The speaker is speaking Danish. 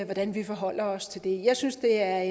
hvordan vi forholder os til det jeg synes det er